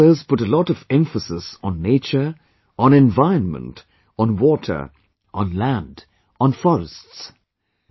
Our forefathers put a lot of emphasis on nature, on environment, on water, on land, on forests